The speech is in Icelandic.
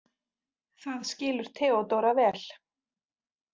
Það skilur Theodóra vel.